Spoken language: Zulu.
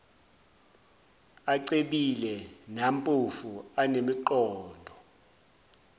acebile nampofu anemiqondo